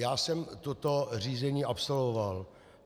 Já jsem toto řízení absolvoval.